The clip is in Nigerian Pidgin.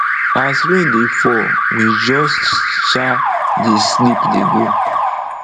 as rain dey fall we just um dey sleep dey go